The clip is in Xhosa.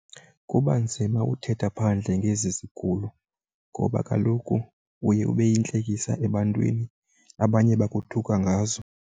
Kuba nzima uthetha phandle ngezi zigulo ngoba kaloku uye ube yintlekisa ebantwini, abanye bakuthuka ngazo.